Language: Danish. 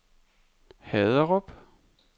Haderup